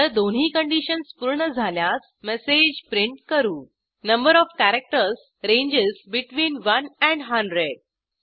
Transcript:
जर दोन्ही कंडिशन्स पूर्ण झाल्यास मेसेज प्रिंट करू number O F characters ranges between 1 and 100